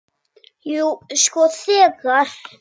Jú, sko þegar.